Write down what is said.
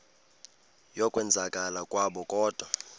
yokwenzakala kwabo kodwa